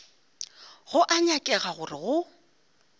go a nyakega gore go